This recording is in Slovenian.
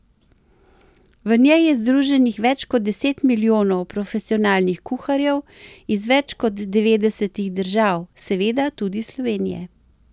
V njej je združenih več kot deset milijonov profesionalnih kuharjev iz več kot devetdesetih držav, seveda tudi Slovenije.